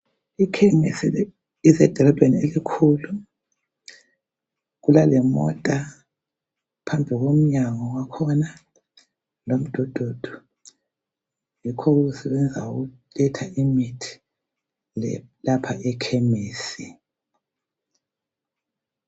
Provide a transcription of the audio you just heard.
Ikhemisi isedolobheni elikhulu. Kulalemota phambi komnyango wakhona lomdududu, yikho okusebenza ukuletha imithi lapha ekhemisi.